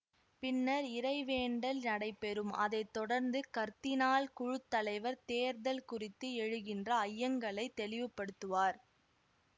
பின்னர் இறைவேண்டல் நடைபெறும் அதை தொடர்ந்து கர்தினால் குழு தலைவர் தேர்தல் குறித்து எழுகின்ற ஐயங்களைத் தெளிவுபடுத்துவார்